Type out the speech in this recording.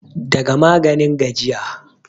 daga maganin gajiya